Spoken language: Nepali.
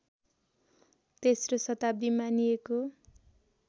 तेस्रो शताब्दी मानिएको